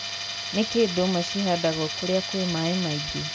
nĩkĩĩ ndũma cĩhandagwo kũria kwĩ maaĩ maĩngi